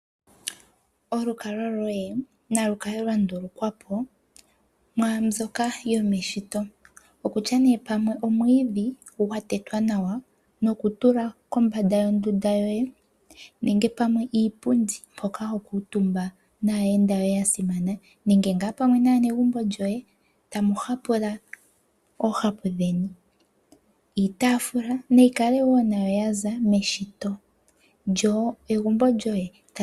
Olukalwa lwoye nalu kale lwa ndulukwa po, mwaa mbyoka yomeshito, okutya nee pamwe omwiidhi gwa tetwa nawa nokutula kombanda yondunda yoye nenge pamwe iipundi mpoka ho kuutumba naayenda yoye ya simana, nenge ngaa pwamwe naanegumbo lyoye tamu hapula oohapu dheni, iitaafula nayi kale wo nayo yaza meshito, lyo egumbo lyoye.